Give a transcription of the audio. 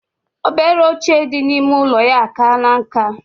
Obele oche di na ime ụlọya akana nka.